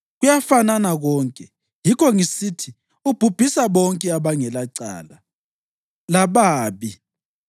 Kuyafanana konke; yikho ngisithi, ‘Ubhubhisa bonke abangelacala lababi.’